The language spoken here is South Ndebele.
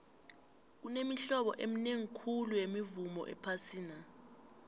kunemihlobo eminingi khulu yemivumo ephasini